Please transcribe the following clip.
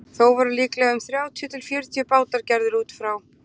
Þó voru líklega um þrjátíu til fjörutíu bátar gerðir út frá